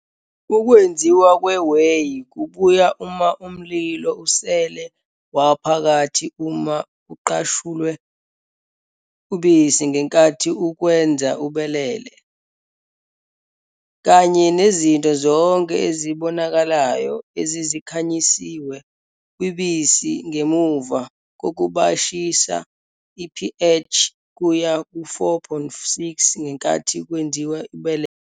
Ukwenziwa kwe-whey kubuya uma umlilo usele waphakathi uma kuqashulwe ubisi ngenkathi ukwenza ubelele, kanye nezinto zonke ezibonakalayo ezizikhanyisiwe kwibisi ngemuva kokubayisha i-pH kuya ku-4.6 ngenkathi kwenziwa ubelele.